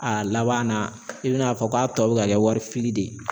A laban na i bina a fɔ k'a tɔ bi ka kɛ wari fili de ye